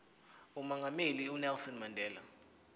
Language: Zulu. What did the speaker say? umongameli unelson mandela